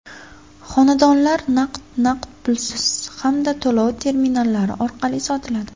Xonadonlar naqd, naqd pulsiz hamda to‘lov terminallari orqali sotiladi.